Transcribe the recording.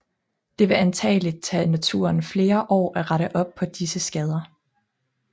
Det vil antagelig tage naturen flere år at rette op på disse skader